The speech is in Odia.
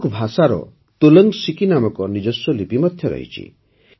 କୁଡୁଖ୍ ଭାଷାର ତୋଲଙ୍ଗ୍ ସିକି ନାମକ ନିଜସ୍ୱ ଲିପି ମଧ୍ୟ ଅଛି